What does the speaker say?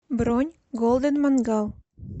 бронь голден мангал